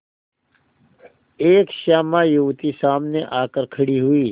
एक श्यामा युवती सामने आकर खड़ी हुई